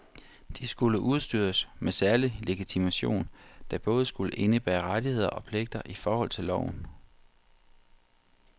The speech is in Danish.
De skulle udstyres med særlig legitimation, der både skulle indebære rettigheder og pligter i forhold til loven.